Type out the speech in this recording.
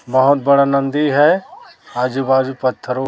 बहोत बड़ा नन्दी है आजू बाजू पत्थरों--